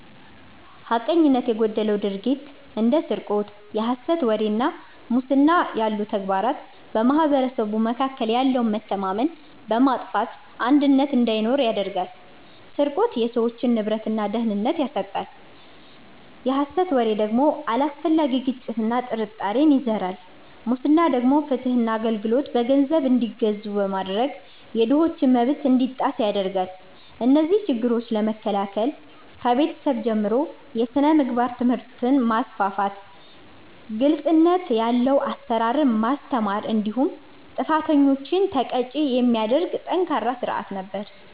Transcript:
ሐቀኝነት የጎደለው ድርጊት እንደ ስርቆት፣ የሐሰት ወሬ እና ሙስና ያሉ ተግባራት በማኅበረሰቡ መካከል ያለውን መተማመን በማጥፋት አንድነትን እንዳይኖር ያደርጋሉ። ስርቆት የሰዎችን ንብረትና ደህንነት ሲያሳጣ፣ የሐሰት ወሬ ደግሞ አላስፈላጊ ግጭትና ጥርጣሬን ይዘራል። ሙስና ደግሞ ፍትህና አገልግሎት በገንዘብ እንዲገዙ በማድረግ የድሆችን መብት እንዲጣስ ያደርጋል። እነዚህን ችግሮች ለመከላከል ከቤተሰብ ጀምሮ የሥነ ምግባር ትምህርትን ማስፋፋት፤ ግልጽነት ያለው አሰራርን ማስተማር እንዲሁም ጥፋተኞችን ተቀጪ የሚያደርግ ጠንካራ ሥርዓት ነበር።